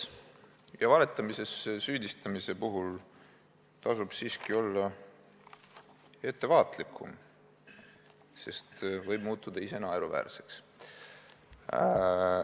Ja valetamises süüdistamise puhul tasub olla ettevaatlikum, sest võib muutuda ise naeruväärseks.